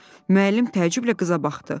Müəllim təəccüblə qıza baxdı.